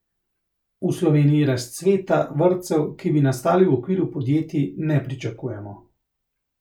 V Sloveniji razcveta vrtcev, ki bi nastali v okviru podjetij, ne pričakujemo.